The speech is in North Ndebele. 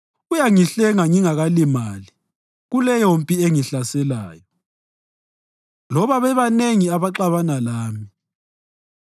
Uyangihlenga ngingakalimali kuleyompi engihlaselayo, loba bebanengi abaxabana lami.